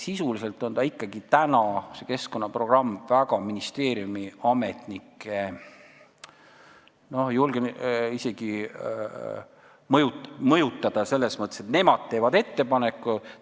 Sisuliselt on see keskkonnaprogramm praegu ministeeriumiametnike, julgen öelda, mõju all selles mõttes, et nemad teevad ettepaneku.